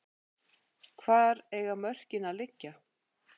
Hvar eiga mörkin að liggja?